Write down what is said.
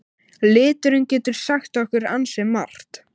Liturinn getur sagt okkur ansi margt.